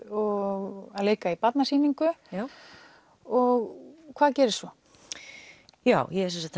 og að leika í barnasýningu og hvað gerist svo já